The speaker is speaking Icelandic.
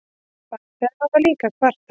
Farþegar hafa líka kvartað.